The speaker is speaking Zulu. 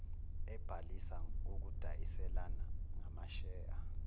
ebhalisa ukudayiselana ngamasheya